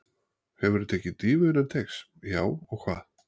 Hefurðu tekið dýfu innan teigs: Já og hvað?